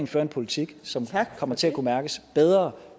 fører en politik som kommer til at kunne mærkes bedre